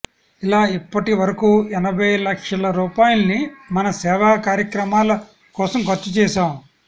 ఇలా ఇప్పటివరకూ ఎనభై లక్షల రూపాయల్ని మా సేవాకార్యక్రమాల కోసం ఖర్చుచేశాం